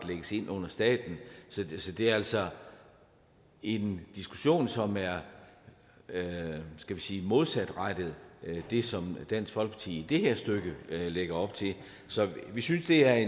lægges ind under staten så det er altså en diskussion som er skal vi sige modsatrettet det som dansk folkeparti i det her stykke lægger op til så vi synes det er